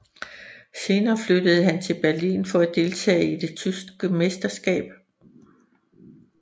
Senere flyttede han til Berlin for at deltage i det tyske mesterskab